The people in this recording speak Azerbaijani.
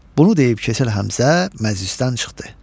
Bunu deyib, keçir Həmzə, məclisdən çıxdı.